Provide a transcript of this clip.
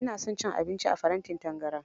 Ina son cin abinci a farantin tangaran.